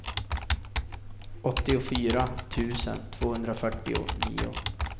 åttiofyra tusen tvåhundrafyrtionio